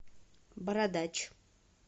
бородач